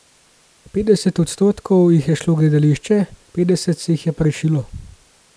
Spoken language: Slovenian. Petdeset odstotkov jih je šlo v gledališče, petdeset se jih je pa rešilo.